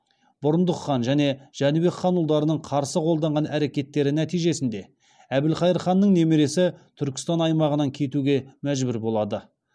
бұрындық хан және жәнібек хан ұлдарының қарсы қолданған әрекеттері нәтижесінде әбілқайыр ханның немересі түркістан аймағынан кетуге мәжбүр болады